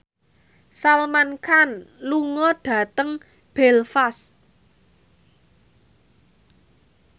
Salman Khan lunga dhateng Belfast